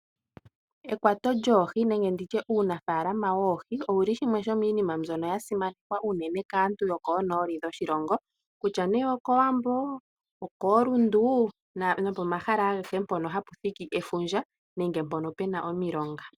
Ekwato lyoohi nenge nditye uunafalama woohi owuli shimwe shominima mbyono ya simanekwa unene kaantu yokonoli yoshilongo kutya ne okowambo, okoRundu nopomahala agehe mpono hapu thiki efundja nenge mpono pena omilonga.